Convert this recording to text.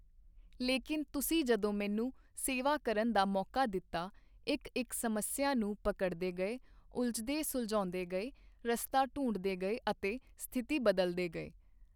ਲੇਕਿਨ ਤੁਸੀਂ ਜਦੋਂ ਮੈਨੂੰ ਸੇਵਾ ਕਰਨ ਦਾ ਮੌਕਾ ਦਿੱਤਾ, ਇੱਕ ਇੱਕ ਸਮੱਸਿਆ ਨੂੰ ਪਕੜਦੇ ਗਏ, ਉਲਝਦੇ ਸੁਲਝਾਉਂਦੇ ਗਏ, ਰਸਤਾ ਢੂੰਡਦੇ ਗਏ ਅਤੇ ਸਥਿਤੀ ਬਦਲਦੇ ਗਏ।